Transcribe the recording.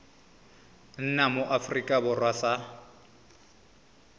nna mo aforika borwa sa